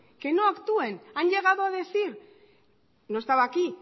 que no actúen han llegado a decir no estaba aquí